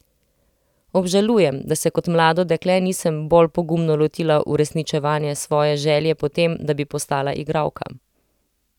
Obžalujem, da se kot mlado dekle nisem bolj pogumno lotila uresničevanja svoje želje po tem, da bi postala igralka.